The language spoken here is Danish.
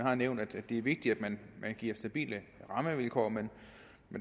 har nævnt at det er vigtigt at man giver stabile rammevilkår men